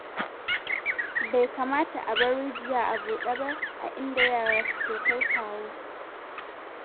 Bai kamata a bar rijiya a buɗe ba a inda yara suke kai-kawo.